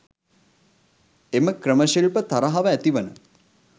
එම ක්‍රම ශිල්ප තරහව ඇති වන